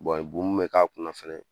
bu min mɛ k'a kunna fɛnɛ